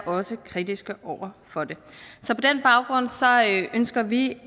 også kritiske over for det så på den baggrund ønsker vi